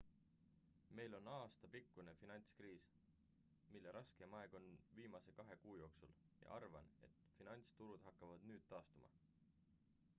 meil on aastapikkune finantskriis mille raskeim aeg oli viimase kahe kuu jooksul ja arvan et finantsturud hakkavad nüüd taastuma